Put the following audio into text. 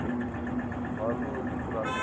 models utilise crown's